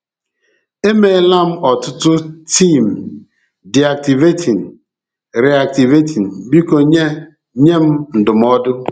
E meela m ọtụtụ tiim, de-activating / re-activating. Biko nye nye m ndụmọdụ.